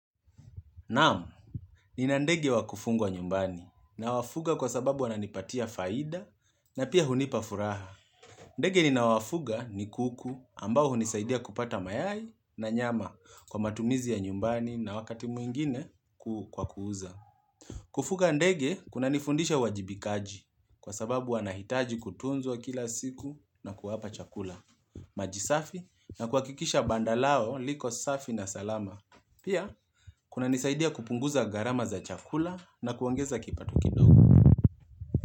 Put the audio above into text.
Naam, ninandege wa kufungwa nyumbani nawafuga kwa sababu wananipatia faida na pia hunipafuraha. Ndege ninaowafuga ni kuku ambaho hunisaidia kupata mayai na nyama kwa matumizi ya nyumbani na wakati mwingine kwa kuuza. Kufuga ndege kunanifundisha uwajibikaji kwa sababu wanahitaji kutunzwa kila siku na kuwapa chakula. Maji safi na kuhakikisha banda lao liko safi na salama. Pia, kunanisaidia kupunguza gharama za chakula na kuongeza kipato kindogo.